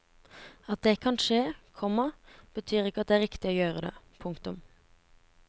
At det kan skje, komma betyr ikke at det er riktig å gjøre det. punktum